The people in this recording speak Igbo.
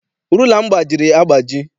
Rula m gbajiri agbaji.